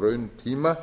rauntíma